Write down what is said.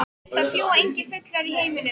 Það fljúga engir fuglar í himninum.